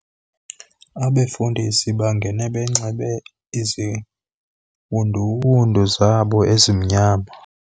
Abefundisi bangena benxibe iziwunduwundu zabo ezimnyama